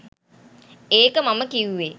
ඒක මම කිව්වෙ.